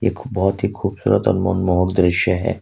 एक बहुत ही खूबसूरत और मनमोहक दृश्य है।